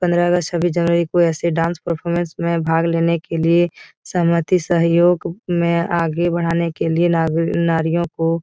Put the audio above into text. पन्द्रह अगस्त छब्बीस जनवरी को ऐसे डांस परफॉर्मेंस में भाग लेने के लिए सहमति सहयोग में आगे बढ़ाने के लिए नाग-नारियों को --